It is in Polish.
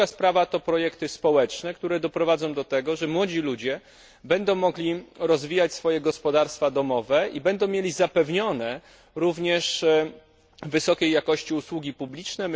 A druga sprawa to projekty społeczne, które doprowadzą do tego, że młodzi ludzie będą mogli rozwijać swoje gospodarstwa domowe i będą mieli zapewnione również wysokiej jakości usługi publiczne.